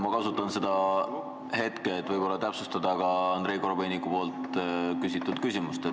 Ma kasutan seda hetke, et täpsustada ka Andrei Korobeiniku küsimust.